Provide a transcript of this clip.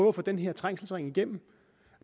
at få den her trængselsring igennem